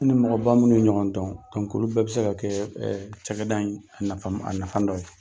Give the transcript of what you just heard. Ne ni mɔgɔba munun ye ɲɔgɔn dɔn , olu bɛɛ be se ka kɛƐɛ cakɛda in a nafa dɔ ye.